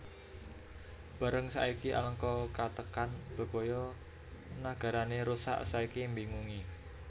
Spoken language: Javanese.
Bareng saiki Alengka katekan bebaya nagarané rusak saiki mbingungi